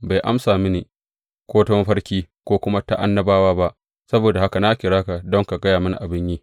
Bai amsa mini, ko ta mafarki, ko kuma ta annabawa ba, saboda haka na kira ka don ka gaya mini abin yi.